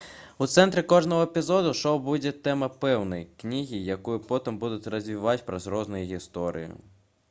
у цэнтры кожнага эпізоду шоу будзе тэма пэўнай кнігі якую потым будуць развіваць праз розныя гісторыі